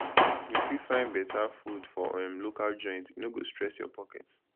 you fit find better food for um local joint e no go stress your pocket